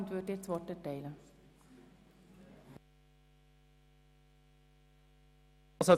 Ich erteile Grossrat Wüthrich das Wort.